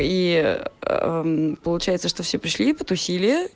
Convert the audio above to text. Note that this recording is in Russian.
и получается что все пришли потусили